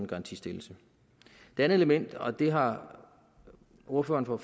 garantistillelse det andet element og det har ordføreren for